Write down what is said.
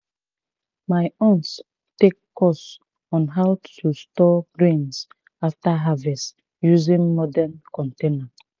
my aunt take course on how to store grains after harvest using modern container